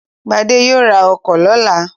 Gbadé yóò ra ọkọ̀ lọ́la.